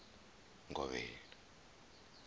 ngovhela